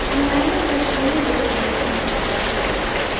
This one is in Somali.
Xannaanada shinnidu waxay soo saartaa malab.